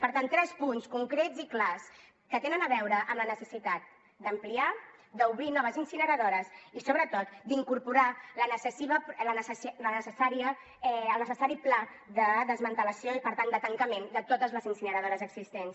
per tant tres punts concrets i clars que tenen a veure amb la necessitat d’ampliar d’obrir noves incineradores i sobretot d’incorporar el necessari pla de desmantellament i per tant de tancament de totes les incineradores existents